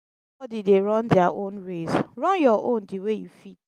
evri bodi dey run dia own race run yur own di way yu fit